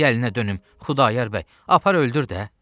Ay əlinə dönüm Xudayar bəy, apar öldür də!